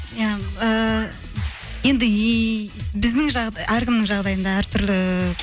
иә ыыы енді әркімнің жағдайында әртүрлі